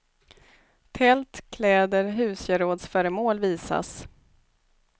Tält, kläder, husgerådsföremål visas.